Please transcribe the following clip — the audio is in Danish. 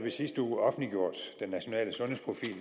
i sidste uge offentliggjort den nationale sundhedsprofil